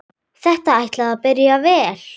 Þetta ætlaði að byrja vel!